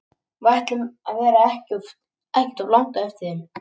Við ætlum að vera ekkert of langt á eftir þeim.